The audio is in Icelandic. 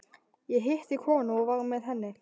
Ég hitti konu og var með henni.